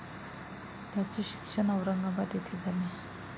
त्यांचे शिक्षण औरंगाबाद येथे झाले.